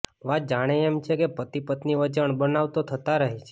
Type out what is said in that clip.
વાત જાણે એમ છે કે પતિ પત્ની વચ્ચે અણબનાવ તો થતા રહે છે